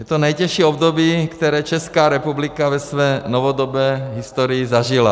Je to nejtěžší období, které Česká republika ve své novodobé historii zažila.